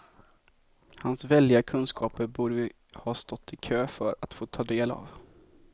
Hans väldiga kunskaper borde vi ha stått i kö för att få ta del av.